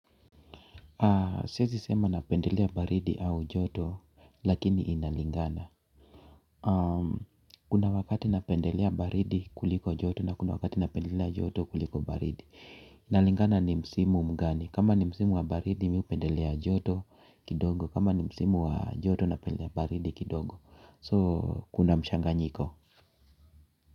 Siwezi sema napendelea baridi au joto lakini inalingana. Kuna wakati napendelea baridi kuliko joto na kuna wakati napendelea joto kuliko baridi. Inalingana ni msimu mgani, kama ni msimu wa baridi mimi hupendelea joto kidogo. Kama ni msimu wa joto napendelea baridi kidogo So kuna mchanganyiko.